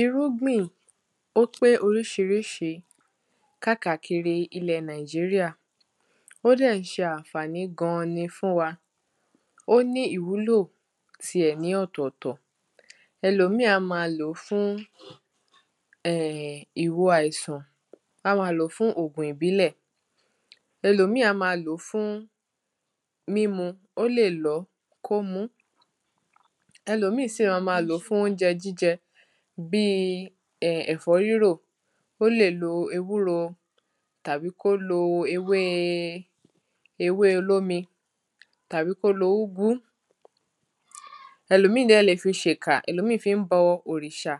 irúgbìn ó pé oríṣiríṣi kákàkiri ilẹ̀ nàìjíríà, ó dẹ̀ ń ṣe ànfàni gan-an ni fún wa ó ní ìwúlò ti ẹ̀ ní ọ̀tọ̀tọ̀ ẹlòmíì á máa lòó fún ẹ̀ ẹ̀ ẹ̀ ìwo àìsàn á máa lòó fún ògun ìbílẹ̀, ẹlòmíì á máa lòó fún mímu, ó lè lọ̀ọ́ kó múu ẹlòmíì sì máa máa lòó fún oúnjẹ jíjẹ bíi ẹ̀fọ́ rírò ó lè lo ewúro, tàbí kó lo ewé ewé olómi, tàbí kó lo úgú ẹlòmíì dẹ̀ lè fi ṣekà, ẹlòmíì fi ń bọ orìṣà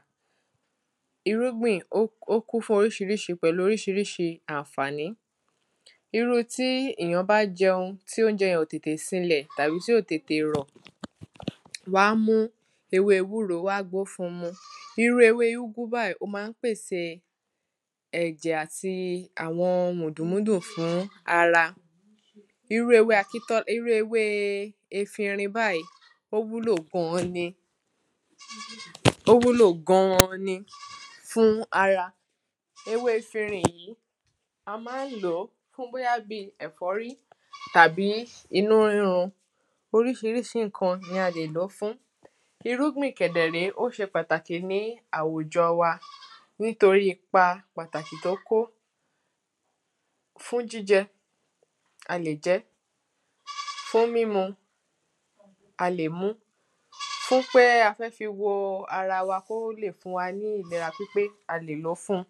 irúgbìn ó kún fún oríṣiríṣi pẹ̀lú oríṣiríṣi ànfàní irú tí èyàn bá jẹun ti oúnjẹ yẹn ò tètè sinlẹ̀ tàbí tí ò tété rọ̀, wán mú ewé ewúro, wán gbo ó fún mu irú ewé úgú báyìí, ó máa ń pèsè ẹ̀jẹ̀ àti àwọn mùdùmùdù fún ara irú ewé akíntọ́, irú ewé efinrin báyìí, ó wúlò gan-an ni, o wúlò gan-an ni fún ara ewé efirin yìí, á máa ń lòó fún bóyábíoi ẹ̀fọ́rí tàbí inú rírun, oríṣiríṣi ǹkan ni a lè lòó fún irúgbìn kẹ̀ dẹ̀ rée, ó ṣe pàtàkì ní àwùjọ wa nítorí ipa pàtàkì tó kó fún jíjẹ, a lè jẹ ẹ́, fún mímu, a lè muú fún pé a fẹ́ fi wo ara wa kó lè fún wa ní ìlera pípé, a lè lòó fun